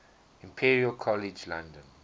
imperial college london